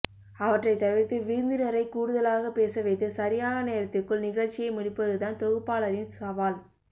அவற்றை தவிர்த்து விருந்தினரை கூடுதலாகப் பேசவைத்து சரியான நேரத்திற்குள் நிகழ்ச்சியை முடிப்பதுதான் தொகுப்பாளரின் சவால்